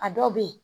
A dɔw bɛ yen